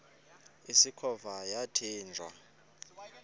usikhova yathinjw a